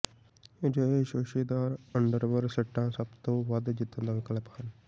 ਅਜਿਹੇ ਸ਼ੋਸ਼ੇਦਾਰ ਅੰਡਰਵਰ ਸੈੱਟਾਂ ਸਭ ਤੋਂ ਵੱਧ ਜਿੱਤਣ ਦਾ ਵਿਕਲਪ ਹਨ